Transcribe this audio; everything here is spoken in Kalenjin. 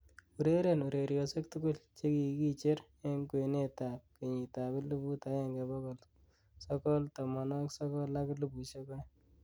ureren ureryosiek tugul chegigijer en kwenet ab kenyiit ab eliput agenge bogol sogol tomonwogik sogol ak elipusiek oeng'